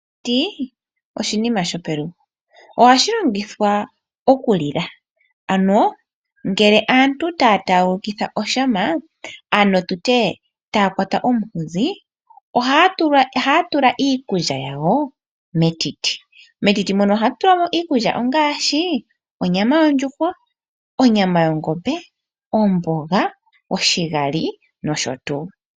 Etiti oshinima shopelugo ohashi longithwa okulila. Ano ngele aantu taya taaguluka oshama ano tutya taya kwata omunkuzi ohaya tula iikulya yawo metiti. Ohamu tulwa iikulya ngaashi onyama yondjuhwa, yongombe, omboga, oshigali nosho tuu.